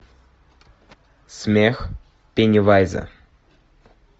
смех пеннивайза